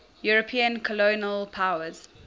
european colonial powers